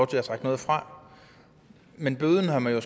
til at trække noget fra men bøden har man jo